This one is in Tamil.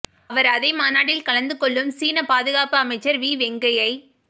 அவர் அதே மாநாட்டில் கலந்து கொள்ளும் சீன பாதுகாப்பு அமைச்சர் வி வெங்கயை